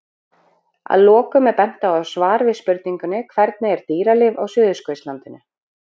Að lokum er bent á svar við spurningunni Hvernig er dýralíf á Suðurskautslandinu?